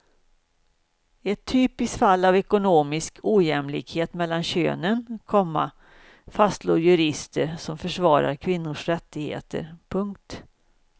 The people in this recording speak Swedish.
Ett typiskt fall av ekonomisk ojämlikhet mellan könen, komma fastslår jurister som försvarar kvinnors rättigheter. punkt